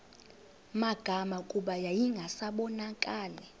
magama kuba yayingasabonakali